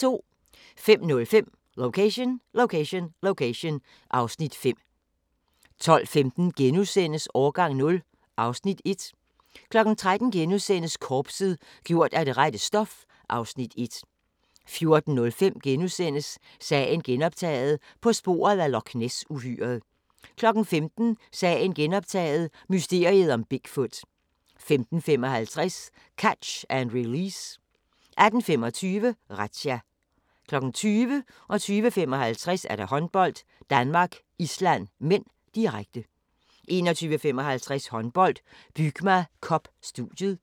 05:05: Location Location Location (Afs. 5) 12:15: Årgang 0 (Afs. 1)* 13:00: Korpset – gjort af det rette stof (Afs. 1)* 14:05: Sagen genoptaget – på sporet af Loch Ness-uhyret * 15:00: Sagen genoptaget – mysteriet om Big Foot 15:55: Catch & Realease 18:25: Razzia 20:00: Håndbold: Danmark-Island (m), direkte 20:55: Håndbold: Danmark-Island (m), direkte 21:55: Håndbold: Bygma Cup – studiet